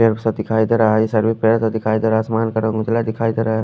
पेड़ सा दिखाई देरा है ये सभी पेड़ सा दिखाई देरा है आसमान का रंग उजला दिखाई देरा है।